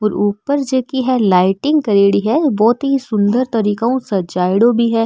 और ऊपर जकी लाइटिंग करेड़ी है और बहोत ही सुन्दर तरीको ऊ सजायेड़ी भी है।